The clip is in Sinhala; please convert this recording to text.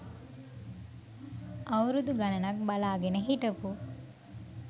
අවුරුදු ගණනක් බලා ගෙන හිටපු